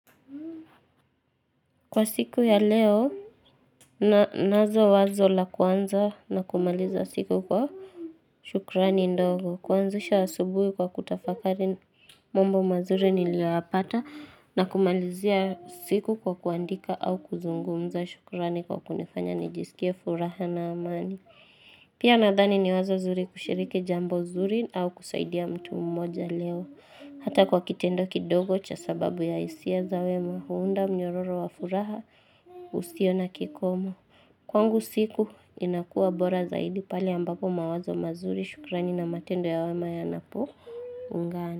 Kwa siku ya leo, na nazo wazo la kuanza na kumaliza siku kwa shukurani ndogo. Huanzisha asubuhi kwa kutafakari mambo mazuri niliyoyapata na kumalizia siku kwa kuandika au kuzungumza shukurani kwa kunifanya nijisikie furaha na amani. Pia nadhani ni wazo zuri kushiriki jambo zuri au kusaidia mtu mmoja leo. Hata kwa kitendo kidogo cha sababu ya hisia za wema huenda mnyororo wa furaha usio na kikomo. Kwangu siku inakua bora zaidi pale ambapo mawazo mazuri shukrani na matendo ya wema yanapoungana.